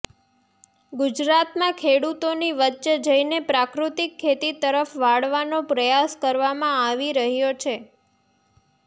ગુજરાતમાં ખેડૂતોની વચ્ચે જઇને પ્રાકૃતિક ખેતી તરફ વાળવાનો પ્રયાસ કરવામાં આવી રહ્યો છે